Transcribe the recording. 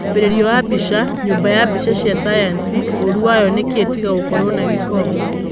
Mwambĩrĩrio wa mbica, nyũmba ya mbica cia cayanci, ũũru wayo nĩkĩĩ tiga gũkorwo na gĩko?